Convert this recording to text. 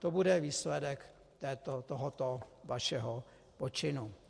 To bude výsledek tohoto vašeho počinu.